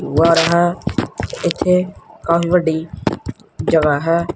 ਬਾਹਰ ਹੈ ਇਥੇ ਕਾਫੀ ਵੱਡੀ ਜਗਹਾ ਹੈ।